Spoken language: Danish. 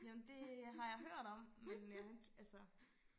Jamen det har jeg hørt om men jeg har ikke altså